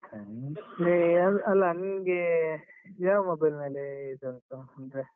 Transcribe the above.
Trend ಅಲ್ಲಿ ಅಲಾ, ನಿಂಗೆ ಯಾವ mobile ಮೇಲೆ ಇದುಂಟು ಅಂದ್ರೆ.